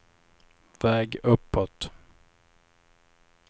väg uppåt